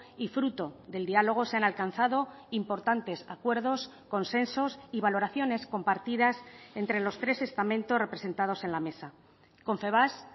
y fruto del diálogo se han alcanzado importantes acuerdos consensos y valoraciones compartidas entre los tres estamentos representados en la mesa confebask